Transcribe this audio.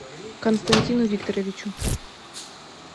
константину викторовичу